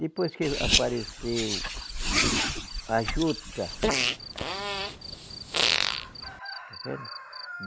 Depois que apareceu a juta está vendo?